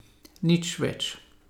Nič več.